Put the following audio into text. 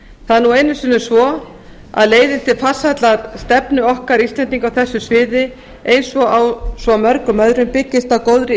það er nú einu sinni svo að leiðin til farsællar stefnu okkar íslendinga á þessu sviði eins og á svo mörgum öðrum byggist á góðri